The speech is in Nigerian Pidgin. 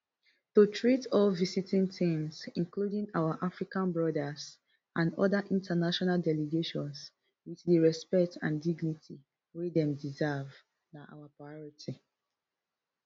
to treat all visiting teams including our african brothers and oda international delegations wit di respect and dignity wey dem deserve na our priority